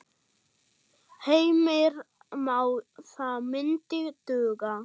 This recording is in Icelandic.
Heimir Már: Það myndi duga?